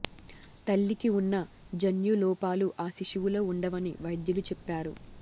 తల్లికి ఉన్న జన్యు లోపాలు ఆ శిశువులో ఉండవని వైద్యులు చెప్పారు